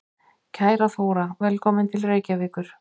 Kæra Þóra. Velkomin til Reykjavíkur.